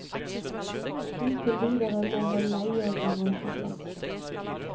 Inntil videre må han leie garasjeplass.